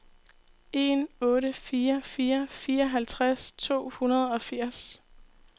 en otte fire fire fireoghalvtreds to hundrede og firs